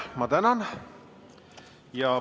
Ma tänan!